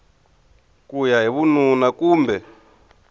ku ya hi vununa kumbe